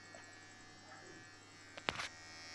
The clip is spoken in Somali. Goorma ayuu tareenku imanayaa Cornwall imanayaa?